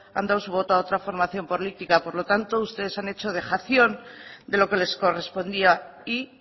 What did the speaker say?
han dado su voto a otra formación política por lo tanto ustedes han hecho dejación de lo que les correspondía y